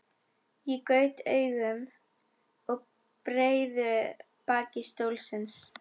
Ég gaut augum að breiðu baki stólsins.